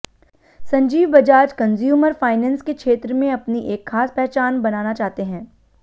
Sanjeev Bajaj consumer finance के क्षेत्र में अपनी एक खास पहचान बनाना चाहते हैं